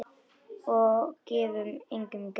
Og gefum engum grið.